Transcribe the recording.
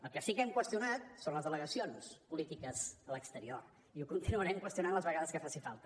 el que sí que hem qüestionat són les delegacions polítiques a l’exterior i ho continuarem qüestionant les vegades que faci falta